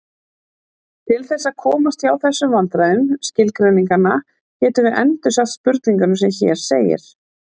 Til þess að komast hjá þessum vandræðum skilgreininganna getum við endursagt spurninguna sem hér segir: